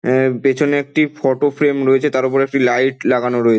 এ পেছনে একটি ফটোফ্রেম রয়েছে | তার উপরে একটি লাইট লাগানো রয়েছে।